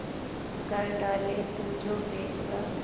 कर डाले तू जो फैसला